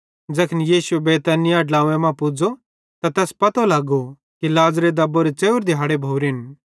ज़ैखन यीशुए बैतनिय्याह ड्लव्वें मां पुज़्ज़ो त तैस पतो लगो कि लाज़र दब्बोरे च़ेव्रे दिहाड़े भोरेन